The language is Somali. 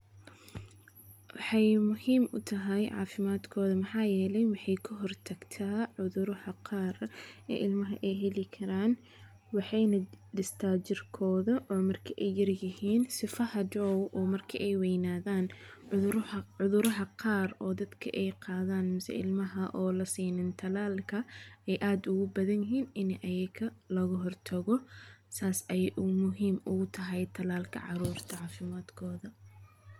Wexey muhim utahay cafimadkooda maxa yele, wexey ka hor tagta curudarada qar eey ilmaha eey heli karan, wexeyna dhista jirkoda markey yar yihin si hadhow marka eey weyanadan cuduraha qar ey dadka qar eey qadan mise ilmaha anan la sinin tallalka eey aad ogu badan yihin iney ayaga loga hortago, sas aye muhim ogu tahay talalka carurta cafimadkoda .